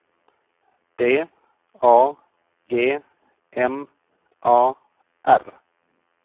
D A G M A R